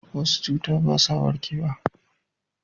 wasu cuta ba sa warkewa